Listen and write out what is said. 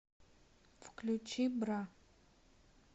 включи бра